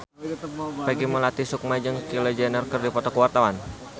Peggy Melati Sukma jeung Kylie Jenner keur dipoto ku wartawan